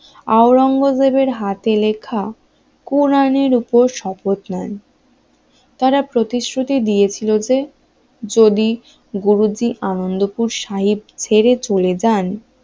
আওরঙ্গজেবের হাতে লেখা কোরআনের উপর শপথ নেন তারা প্রতিশ্রুতি দিয়েছিল যে যদি গুরুজি আনন্দপুর সাহিব ছেড়ে চলে যান